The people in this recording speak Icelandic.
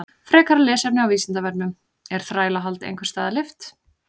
Frekara lesefni á Vísindavefnum: Er þrælahald einhvers staðar leyft?